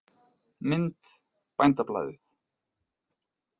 Mynd: Bændablaðið.